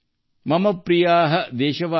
ma'am ಪ್ರಿಯಾ ದೇಶವಾಸಿನ್